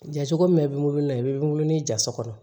Jacogo min bɛ n bolo i bɛ n wolo ni ja so kɔnɔ